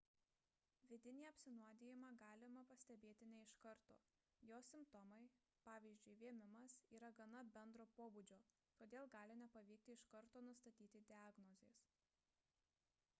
vidinį apsinuodijimą galima pastebėti ne iš karto jo simptomai pvz. vėmimas yra gana bendro pobūdžio todėl gali nepavykti iš karto nustatyti diagnozės